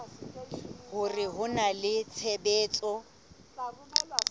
hore ho na le tshebetso